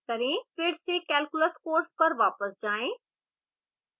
फिर से calculus course पर वापस जाएँ